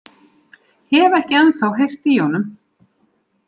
Hef ekki ennþá heyrt í honum.